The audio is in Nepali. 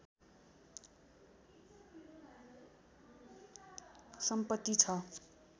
सम्पत्ति छ